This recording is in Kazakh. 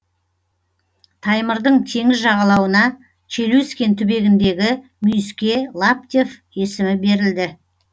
таймырдың теңіз жағалауына челюскин түбегіндегі мүйіске лаптев есімі берілді